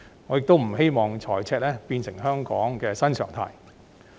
我亦不希望財政赤字會變成香港的新常態。